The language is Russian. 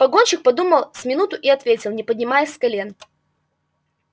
погонщик подумал с минуту и ответил не поднимаясь с колен